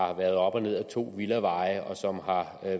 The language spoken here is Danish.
har været op og ned ad to villaveje og som har